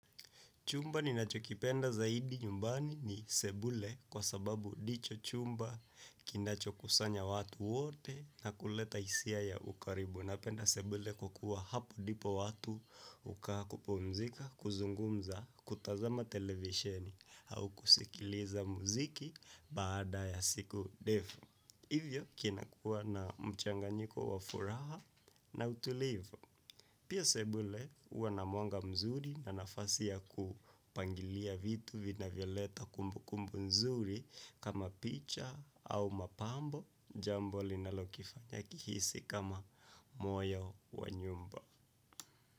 Chumba ninachopenda zaidi nyumbani ni sebule kwa sababu ni chumba kinachokusanya watu wote na kuleta hisia ya ukaribu. Napenda sebule kwa kuwa hapo ndipo watu hukaa, kupumzika huzungumza, hutazama televisheni, au kusikiliza muziki baada ya siku ndefu. Hivyo, kinakuwa na mchanganyiko wa furaha na utulivu. Pia, sebule huwa na mwanga mzuri na nafasi ya kupangilia vitu vinavyoleta kumbukumbu nzuri kama picha au mapambo, jambo linalokifanya ihisi kama moyo wa nyumba.